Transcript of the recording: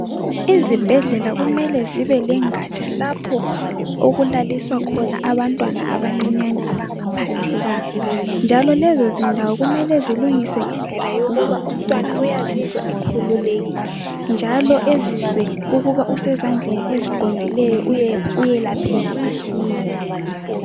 Izibhedlela kumele zibe lengatsha lapho okulaliswa khona abantwana abancinyane abangaphathekanga. Njalo lezi zindawo kumele zilungiswe ngendlela yokuba umntwana uyazizwa ekhululekile njalo ezizwe ukuba usezandleni eziqondileyo uyelapheka masinya